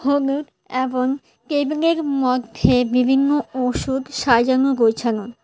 হোমের এবং কেবিনের মধ্যে বিভিন্ন ওষুধ সাজানো গোছানো।